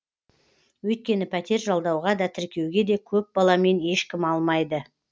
өйткені пәтер жалдауға да тіркеуге де көп баламен ешкім алмайды